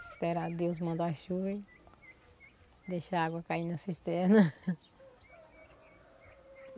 Esperar Deus mandar chuva e deixar a água cair na cisterna.